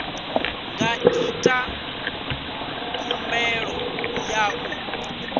nga ita khumbelo ya u